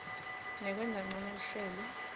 nekwenta ncono luhlelo